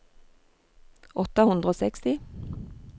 åtte hundre og seksti